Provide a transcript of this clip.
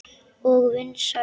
Og vinsæl.